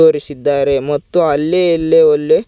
ಕರಿಸಿದ್ದಾರೆ ಮತ್ತು ಅಲ್ಲಿ ಇಲ್ಲಿ ಒಲ್ಲಿ--